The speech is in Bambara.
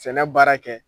Sɛnɛ baara kɛ